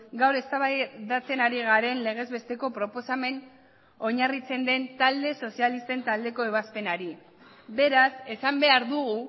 gaur eztabaidatzen ari garen legez besteko proposamen oinarritzen den talde sozialisten taldeko ebazpenari beraz esan behar dugu